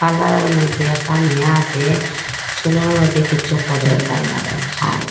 পার্লারের মইদ্যে একটা মেয়ে আসে চুলের মইদ্যে কিছু করে পার্লারোর হাজ।